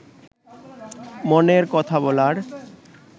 মনের কথা বলার